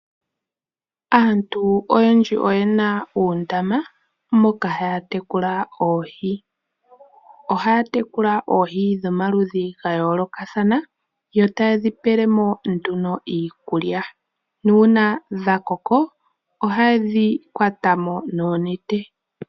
Aantu oyendji oye na uundama moka haya tekula oohi. Oha ya tekula oohi dhomaludhi gayoolokathana yo ta ye dhi pelemo nduno iikulya, nuuna dha koko, oha ye dhi kwatamo noonete.